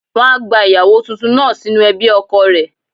Wọ́n á gba ìyàwó tuntun náà sínú ẹbí ọkọ rẹ̀.